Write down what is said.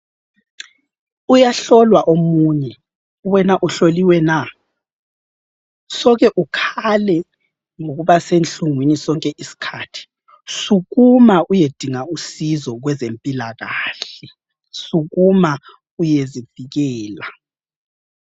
Uyahlolwa omunye. Wena uhloliwe na? Soke ukhale ngokuba senhlungwini sonke isikhathi. Sukuma uyedinga usizo kwezempilakahle. Sukuma uyezivikela!